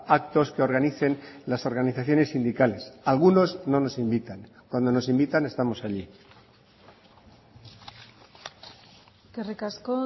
actos que organicen las organizaciones sindicales algunos no nos invitan cuando nos invitan estamos allí eskerrik asko